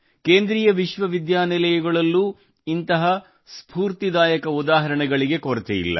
ಕೇಂದ್ರೀಯ ವಿಶ್ವವಿದ್ಯಾನಿಲಯಗಳಲ್ಲೂ ಇಂತಹ ಸ್ಫೂರ್ತಿದಾಯಕ ಉದಾಹರಣೆಗಳಿಗೆ ಕೊರತೆಯಿಲ್ಲ